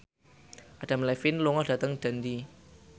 Adam Levine lunga dhateng Dundee